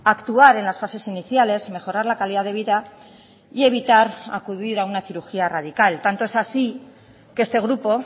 actuar en las fases iniciales mejorar la calidad de vida y evitar acudir a una cirugía radical tanto es así que este grupo